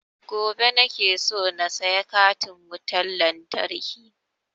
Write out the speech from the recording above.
Gobe nake so na saya katin wutan lantarkin